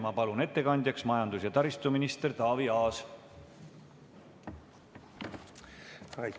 Ma palun ettekandjaks majandus- ja taristuminister Taavi Aasa!